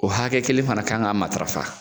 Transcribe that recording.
O hakɛ kelen fana kan ka matarafa